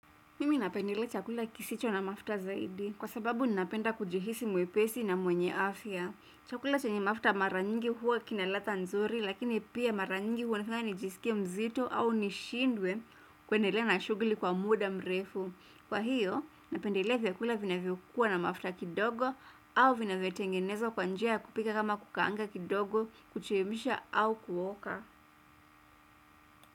Mimi napendelea chakula kisicho na mafuta zaidi kwa sababu napenda kujihisi mwepesi na mwenye afya. Chakula chenye mafuta mara nyingi huwa kina ladha nzuri lakini pia mara nyingi huonekana nijisikie mzito au nishindwe kuendelea na shughuli kwa muda mrefu. Kwa hiyo napendelea vyakula vinavyokuwa na mafuta kidogo au vinavyotengenezwa kwa njia ya kupika kama kukaanga kidogo kuchemsha au kuoka.